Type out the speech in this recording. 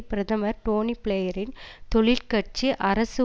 பிரதமர் டோனி பிளேயரின் தொழிற் கட்சி அரசு